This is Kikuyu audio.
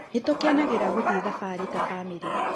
Nĩtũkenagera gũthiĩ thabarĩ ta bamĩrĩ